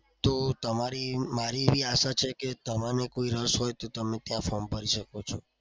તો તમારી મારી એવી આશા છે કે તમને કોઈ રસ હોય તો તમે ત્યાં form ભરી શકો છો.